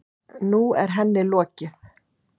Nú er henni lokið.